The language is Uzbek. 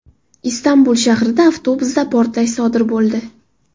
Istanbul shahrida avtobusda portlash sodir bo‘ldi.